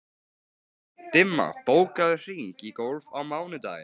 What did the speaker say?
Dimma, bókaðu hring í golf á mánudaginn.